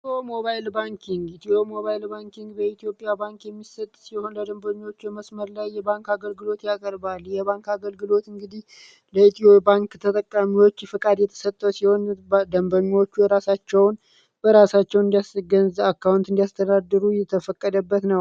ኢትዮ ሞባይል ባንኪግ : ኢትዮ ሞባይል ባንኪግ በኢትዮ ባንክ የሚሰጥ ሲሆን ደንበኞች ላይ የመስመር ላይ አገልግሎት ያቀርባል ። የባንግ አገልግሎት እንግዲ ለኢትዮ ባንክ ተጠቃሚወች ፍቃድ የሚሰጥ ሲሆን ደንበኞቹ የራሳቸዉን በራሳቸዉ አካዉንት እንዲያስተዳድሩ የተፈቀደበት ነዉ።